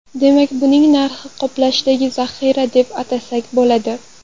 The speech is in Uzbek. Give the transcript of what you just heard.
Demak, buning narxini qoplashdagi zaxira, deb atasak bo‘ladi.